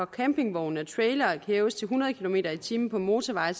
campingvogne og trailere kan hæves til hundrede kilometer per time på motorveje